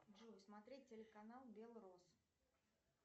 джой смотреть телеканал белросс